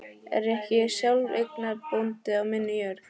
Er ég ekki sjálfseignarbóndi á minni jörð?